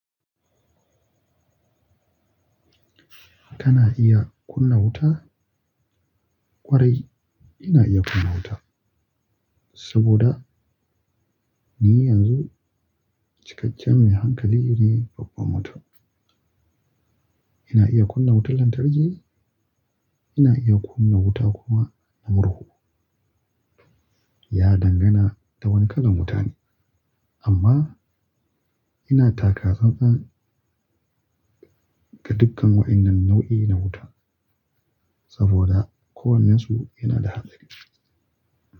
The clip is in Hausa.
Kana iya kunna wuta? Kwarai ina iya kunna wuta saboda ni yanzu cikakken mai hankali ne babban mutum Ina iya kunna wutar lantarki, ina iya kunna wuta kuma na murhu. Ya dangana da wane kalan wuta ne, amma ina taka tsantsan ga dukkan waɗannan nau'i na wuta saboda kowannensu yana da haɗari.